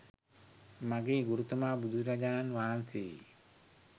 මගේ ගුරුතුමා බුදුරජාණන් වහන්සේයි.